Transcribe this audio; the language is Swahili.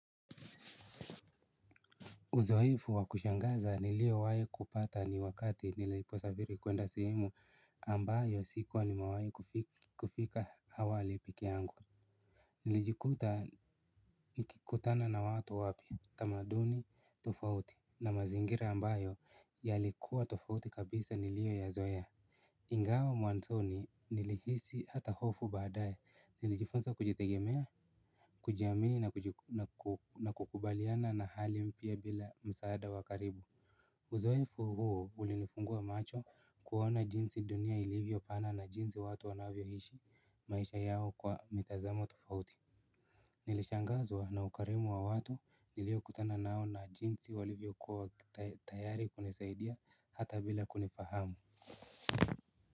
Uzoefu wa kushangaza niliowahi kupata ni wakati niliposafiri kwenda sehemu ambayo sikuwa nimewahi kufika awali pekee yangu. Nilijikuta nikikutana na watu wapya tamaduni tofauti na mazingira ambayo yalikuwa tofauti kabisa niliyoyazoea. Ingawa mwanzoni nilihisi hata hofu baadaye nilijifunza kujitegemea, kujiamini na kukubaliana na hali mpya bila msaada wa karibu. Uzoefu huo ulinifungua macho kuona jinsi dunia ilivyo pana na jinsi watu wanavyoishi maisha yao kwa mitazamo tofauti. Nilishangazwa na ukarimu wa watu niliokutana nao na jinsi walivyo kwa tayari kunisaidia hata bila kunifahamu.